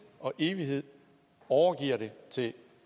og evighed overgiver det til